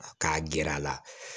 K'a gɛr'a la